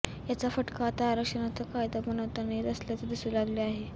याचा फटका आता आरक्षणाचा कायदा बनवताना येत असल्याचे दिसू लागले आहे